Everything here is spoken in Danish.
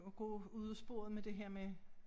Og gå ud ad sporet med det her med